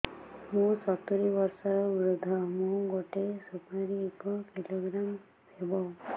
ମୁଁ ସତୂରୀ ବର୍ଷ ବୃଦ୍ଧ ମୋ ଗୋଟେ ସୁପାରି ଏକ କିଲୋଗ୍ରାମ ହେବ